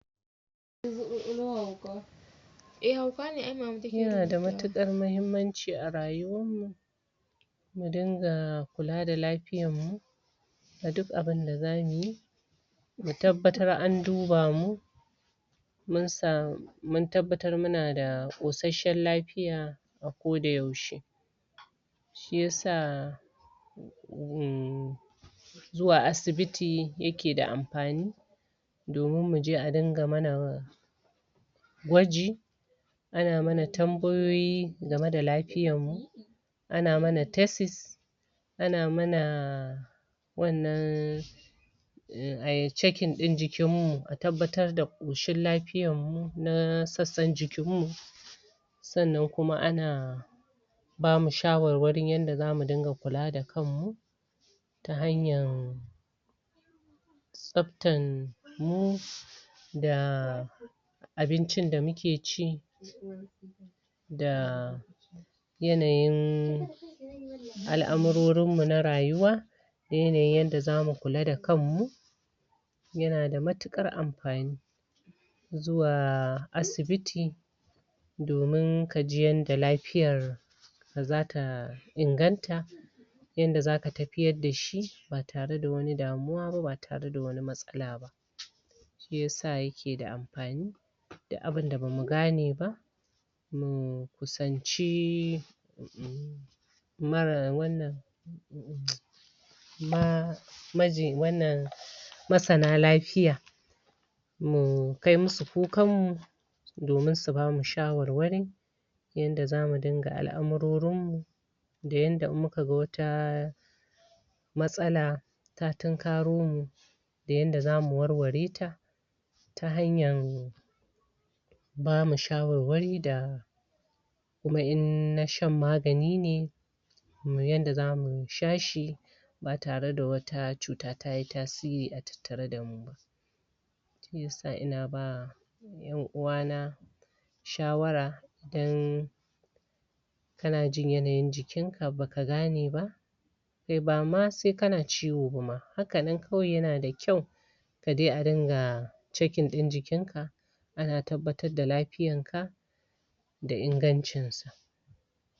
yana da matukar mahimmanci a rayuwan mu mu dinga kula da lafiyan mu a duk abin da zamu yi mu tabatar an duba mu mun sa mun tabatar muna da kotsashen lafiya a ko da yaushe shi yasa zuwa asibiti yake da amfani domin muje, a dinga mana gwaji ana mana tambayoyi game da lafiyan mu ana mana tesis ana mana wanan ayi checking in jikin mu, a tabatar da koshin lafiyan mu na sassan jikin mu sanan kuma ana bamu shawawarin, yada za mu dinga kula da kan mu ta hanyan tsaptan mu da abincin da muke ci da yanayin al'amurorin mu na rayuwa da yanayin da zamu kula da kan mu yana da matukar amfani zuwa asibiti domin ka ji yada lafiyar da zata inganta yada, za ka tafiyar da shi ba tare da wani damuwa ba ba tara da wani matsala ba shiyasa yake da amfani duk abin da bamu gane ba mu kusance mara wanan ma maji wanan masana lafiya mu kai musu kukan mu domin su bamu shawarwari yada zamu dinga al'amurorin mu da yada in muka gan wata matsala ta tunkaro mu da yada zamu warware ta ta hanyan bamu shawarwari da kuma in na shan magani ne mu yi yada zamu sha shi ba tare da wata cuta tayi tasiri a tattare da mu ba shi yasa ina ba yan uwa na shawara dan kana jin yanayin jikin ka, baka gane ba kai ba ma sai kana ciwo bama, hakanan kawai, yana da kyau ka dai, a dinga checking in jikin ka ana tabatar da lafiyan ka da ingancin sa